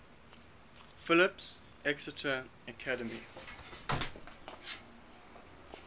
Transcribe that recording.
phillips exeter academy